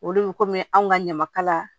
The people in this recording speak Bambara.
Olu bɛ kɔmi anw ka ɲamakala